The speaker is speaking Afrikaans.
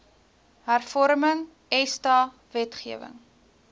hervorming esta wetgewing